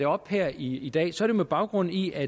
op her i i dag jo så er med baggrund i at